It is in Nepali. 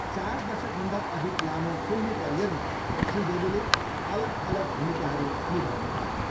चार दशकभन्दा अधिक लामो फिल्मी करियरमा श्री देवीले अलग अलग भूमिकाहरू निभाउनुभयो।